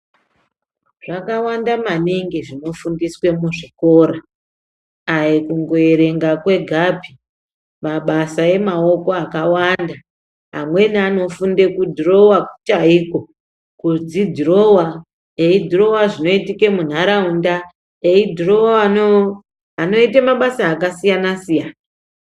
Zvakavanda maningi zvinofundiswe muzvikora aikuerenga kwegapi, mabasa emaoko akavanda amweni anofunda kudhirova chaiko, kudzi dhirova, eyidhirova zvinoitika munharaunda, eyidhirova vanoite mabasa akasiyana siyana.